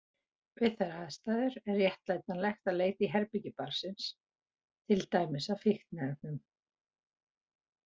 Við þær aðstæður er réttlætanlegt að leita í herbergi barnsins, til dæmis að fíkniefnum.